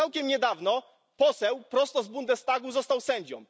Całkiem niedawno poseł prosto z Bundestagu został sędzią.